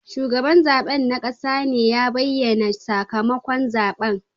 Shugaban zabe na kasa ne ya bayyana sakamakon zaben.